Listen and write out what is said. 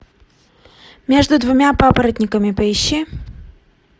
между двумя папоротниками поищи